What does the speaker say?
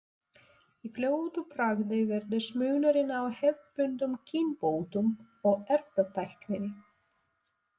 Í fljótu bragði virðist munurinn á hefðbundnum kynbótum og erfðatækninni.